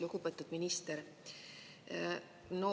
Lugupeetud minister!